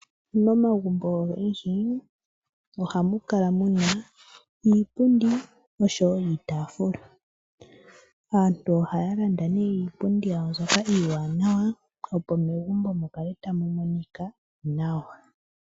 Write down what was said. Momagumbo ogendji ohamu kala muna iipundi nosho wo iitaafula. Aantu ohaya landa iipundi yawo mbyoka iiwanawa opo megumbo mukale tamu monika nawa.